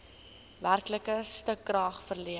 werklike stukrag verleen